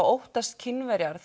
óttast Kínverjar